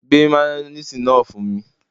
Gbé mayoníìsì náà fún mi